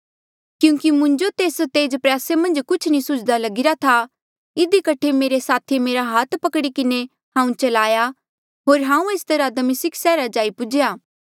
क्यूंकि मुंजो तेस तेज प्रयासे मन्झ कुछ नी सुझ्दा लगीरा था इधी कठे मेरे साथीये मेरा हाथ पकड़ी किन्हें हांऊँ चलाया होर हांऊँ एस तरहा दमिस्का सैहरा जाई पुज्हेया